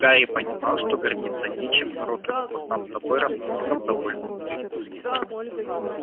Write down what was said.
гарри понимал что гордиться нечем но рот у него сам собой расползся в довольную улыбку